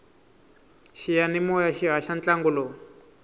xiyanimoya xi haxa ntlangu lowu